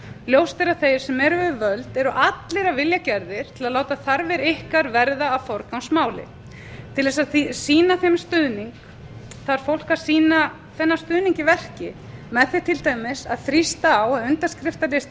ljóst er að þeir sem eru við völd eru allir af vilja gerðir til að láta þarfir ykkar verða að forgangsmáli til þess að sýna þeim stuðning þarf fólk að sýna þennan stuðning í verki með því til dæmis að þrýsta á að